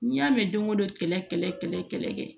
N'i y'a mɛn don o don kɛlɛ kɛlɛ kɛ